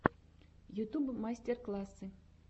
ютюб мастер классы